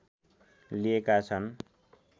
लिएका छन्